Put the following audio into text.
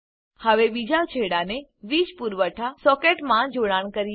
હવે બીજા છેડાને વીજ પુરવઠા સોકેટમાં જોડાણ કરીએ